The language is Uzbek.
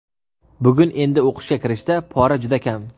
Bugun endi o‘qishga kirishda pora juda kam.